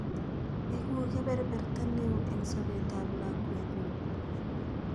Eku kepeperta neo eng' sopet ap lakwet ng'ung'